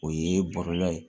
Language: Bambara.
O ye bɔlɔlɔ ye